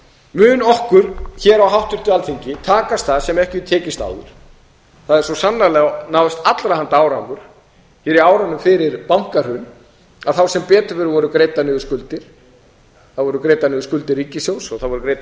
mun okkur hér á háttvirtu alþingi takast það sem ekki hefur tekist áður það hefur svo sannarlega náðst allra handa árangur hér á árunum fyrir bankahrun þá sem betur fer voru greiddar niður skuldir það voru greiddar niður skuldir ríkissjóðs og það voru greiddar